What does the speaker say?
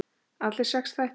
Alls sex þættir.